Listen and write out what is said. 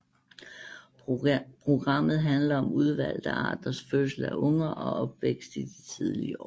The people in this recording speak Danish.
Programmet handler om udvalgte arters fødsel af unger og opvækst i de tidlige år